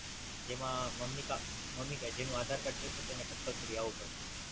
જેમાં મમ્મી કા મમ્મી કા જેનું આધાર કાર્ડ રહશે તેને Compulsory આવવું પડશે.